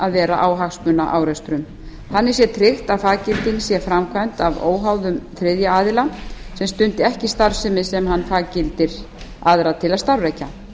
að vera á hagsmunaárekstrum þannig sé tryggt að faggilding sé framkvæmd af óháðum þriðja aðila sem stundi ekki starfsemi sem hann faggildir aðra til að starfrækja